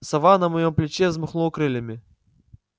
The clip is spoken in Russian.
сова на моем плече взмахнула крыльями